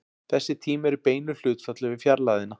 Þessi tími er í beinu hlutfalli við fjarlægðina.